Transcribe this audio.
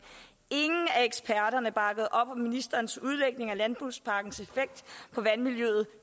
ingen af eksperterne bakkede op om ministerens udlægning af landbrugspakkens effekt på vandmiljøet